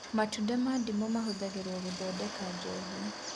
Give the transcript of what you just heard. Matunda ma ndimũ mahũthagĩrwo gũthondeka njohi